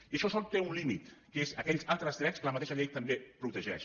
i això sols té un límit que és aquells altres drets que la mateixa llei també protegeix